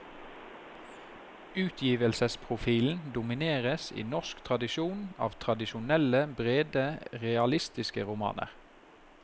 Utgivelsesprofilen domineres i norsk tradisjon av tradisjonelle brede realistiske romaner.